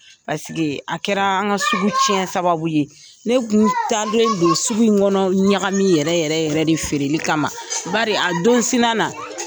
a kɛra an ka sugu tiɲɛli sababu ye, ne tun taalen don sugu in kɔnɔ ɲagami yɛrɛ yɛrɛ yɛrɛ de feereli kama, bari a don sina na.